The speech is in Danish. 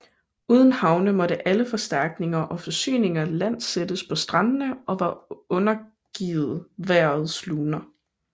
Uden havne måtte alle forstærkninger og forsyninger landsættes på strandene og var undergivet vejrets luner